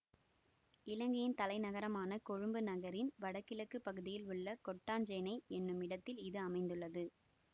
இலங்கையின் தலை நகரமான கொழும்பு நகரின் வடகிழக்கு பகுதியில் உள்ள கொட்டாஞ்சேனை என்னும் இடத்தில் இது அமைந்துள்ளது